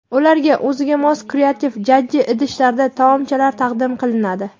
Ularga o‘ziga mos, kreativ jajji idishlarda taomchalar taqdim qilinadi.